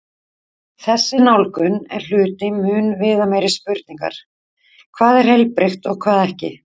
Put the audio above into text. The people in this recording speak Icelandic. Þessi nálgun er hluti mun viðameiri spurningar: hvað er heilbrigt og hvað ekki?